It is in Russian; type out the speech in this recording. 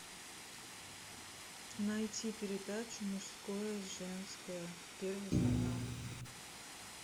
найти передачу мужское женское первый канал